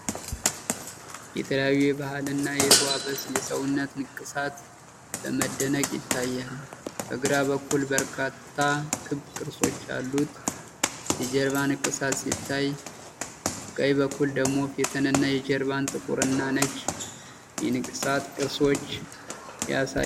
የተለያዩ የባህል እና የተዋበ የሰውነት ንቅሳት በመደነቅ ይታያል። በግራ በኩል በርካታ ክብ ቅርጾች ያሉት የጀርባ ንቅሳት ሲታይ፣ በቀኝ በኩል ደግሞ የፊትንና የጀርባን ጥቁርና ነጭ የንቅሳት ቅርጾች ያሳያል።